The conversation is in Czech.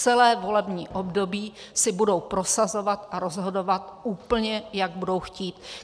Celé volební období si budou prosazovat a rozhodovat úplně, jak budou chtít.